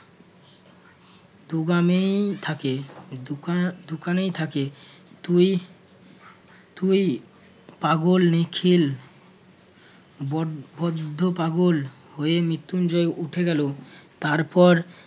দোকানেই থাকে~ দোকা~ দোকানেই থাকে। তুই~ তুই পাগল নিখিল বড~ বড্ড পাগল হয়ে মৃত্যুঞ্জয় উঠে গেল তারপর